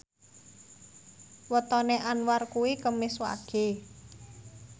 wetone Anwar kuwi Kemis Wage